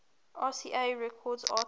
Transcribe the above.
rca records artists